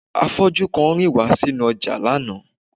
Afọ́jú kan rìn wá sí inú ọjà lánàá